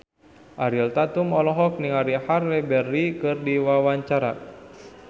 Ariel Tatum olohok ningali Halle Berry keur diwawancara